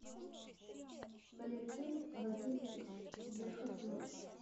валентин вакилович верхотуров